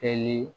Kɛli